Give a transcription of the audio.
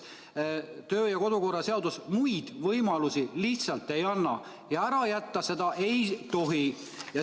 Kodu- ja töökorra seadus muid võimalusi lihtsalt ei anna ja ära jätta seda ei tohi.